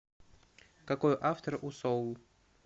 какой автор у соул